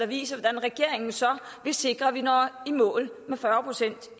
viser hvordan regeringen så vil sikre at vi når i mål med fyrre procent